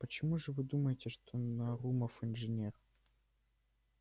почему же вы думаете что нарумов инженер